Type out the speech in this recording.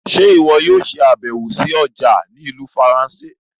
Ṣe iwọ yóò ṣabẹwo sí ọja ni Ìlú Faransé?